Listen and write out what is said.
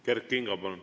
Kert Kingo, palun!